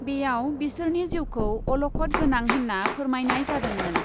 बेयाव बिसोरनि जिउखौ अलखद गोनां होन्ना फोरमायनाय जादोंमोन ।